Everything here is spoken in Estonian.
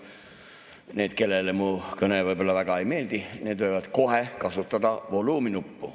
Need, kellele mu kõne võib‑olla väga ei meeldi, võivad kohe kasutada volüüminuppu.